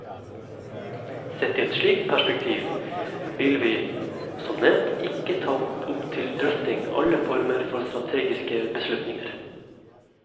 Sett i et slikt perspektiv vil vi, som nevnt, ikke ta opp til drøfting alle former for strategiske beslutninger.